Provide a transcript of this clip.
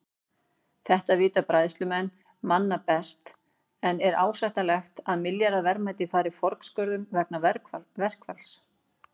Þetta vita bræðslumenn manna best en er ásættanlegt að milljarða verðmæti fari forgörðum vegna verkfalls?